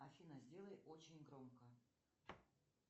афина сделай очень громко